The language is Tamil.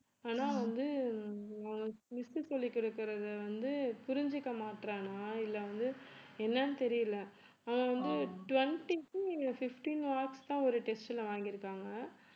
ஆனா வந்து miss சொல்லிக் கொடுக்கிறது வந்து புரிஞ்சுக்கமாட்றானா இல்லை வந்து என்னன்னு தெரியலே அவன் வந்து twenty க்கும் fifteen marks தான் ஒரு test ல வாங்கியிருக்காங்க